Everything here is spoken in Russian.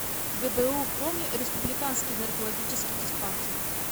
гбу коми республиканский наркологический диспансер